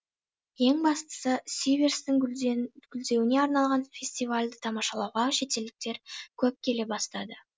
ең бастысы сиверстің гүлдеуіне арналған фестивальді тамашалауға шетелдіктер көп келе бастады